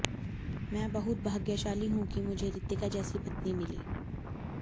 मैं बहुत भाग्यशाली हूं कि मुझे रितिका जैसी पत्नी मिली